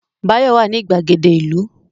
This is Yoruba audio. Báyọ̀ wà ní ìgbàgede ìlú